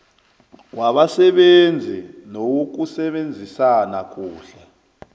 wabasebenzi newokusebenzisana kuhle